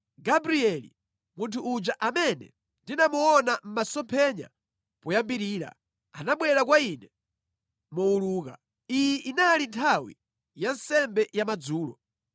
Gabrieli, munthu uja amene ndinamuona mʼmasomphenya poyambirira, anabwera kwa ine mowuluka. Iyi inali nthawi ya nsembe ya madzulo.